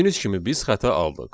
Gördüyünüz kimi biz xəta aldıq.